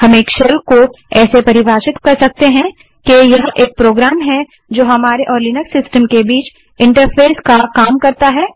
हम शेल को ऐसे परिभाषित कर सकते हैं कि यह एक प्रोग्राम जो हमारे और लिनक्स सिस्टम के बीच इंटरफेस का तरह काम करता है